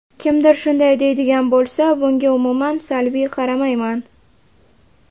Kimdir shunday deydigan bo‘lsa, bunga umuman salbiy qaramayman.